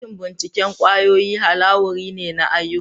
Dakin bincike kwayoyi halawuri ne na ayyuka.